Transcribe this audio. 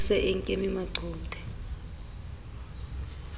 e se e nkeme maqothe